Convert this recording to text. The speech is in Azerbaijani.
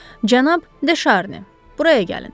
Cənab De Şarni, buraya gəlin.